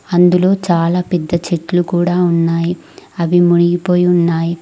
అందులో చాలా పెద్ద చెట్లు కూడా ఉన్నాయి అవి మునిగిపోయి ఉన్నాయి.